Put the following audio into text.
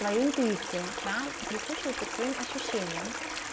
моя интуиция прислушиваться к своим ощущениям